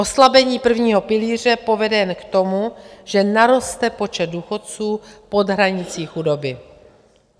Oslabení prvního pilíře povede jen k tomu, že naroste počet důchodců pod hranicí chudoby.